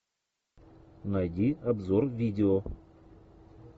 найди обзор видео